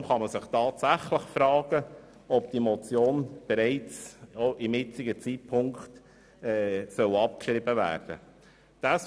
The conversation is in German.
Deshalb kann man sich tatsächlich fragen, ob diese Motion bereits zum jetzigen Zeitpunkt abgeschrieben werden soll.